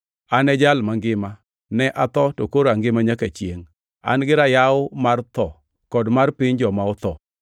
An e Jal Mangima; ne atho, to koro angima nyaka chiengʼ! An-gi rayaw mar tho kod mar piny joma otho.